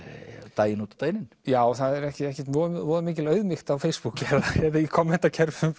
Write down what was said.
daginn út og daginn inn já það er ekkert voðalega mikil auðmýkt á Facebook eða í